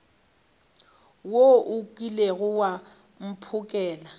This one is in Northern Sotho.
wo o kilego wa mphokela